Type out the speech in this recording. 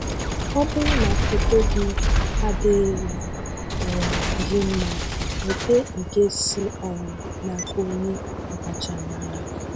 Ọ bụrụ na foto gị adịghị um gị mma, nweta nke si um n'aka onye ọkachamara.